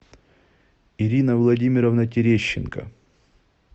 ирина владимировна терещенко